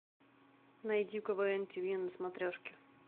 найди квн тв на смотрешке